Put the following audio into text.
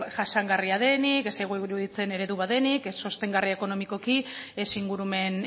jasangarria denik ez zaigu iruditzen eredu bat denik ez sostengarria ekonomikoki ez ingurumen